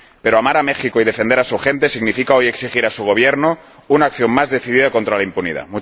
Pero amar a México y defender a su gente significa hoy exigir a su Gobierno una acción más decidida contra la impunidad.